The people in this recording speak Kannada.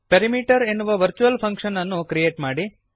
ಪೆರಿಮೀಟರ್ ಎನ್ನುವ ವರ್ಚುವಲ್ ಫಂಕ್ಷನ್ ಅನ್ನು ಕ್ರಿಯೇಟ್ ಮಾಡಿರಿ